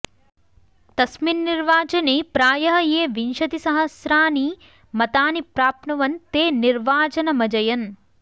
तस्मिन् निर्वाचने प्रायः ये विंशतिसहस्राणि मतानि प्राप्नुवन् ते निर्वाचनमजयन्